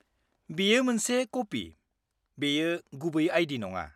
-बेयो मोनसे कपि, बेयो गुबै आइ. डि. नङा।